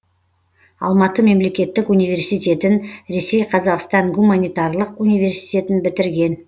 алматы мемлекеттік университетін ресей қазақстан гуманитарлық университетін бітірген